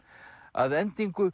að endingu